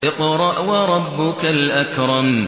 اقْرَأْ وَرَبُّكَ الْأَكْرَمُ